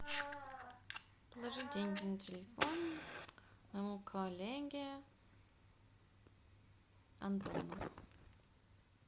положи деньги на телефон моему коллеге антону